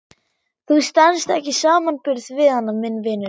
Þú stenst ekki samanburð við hana minn vinur.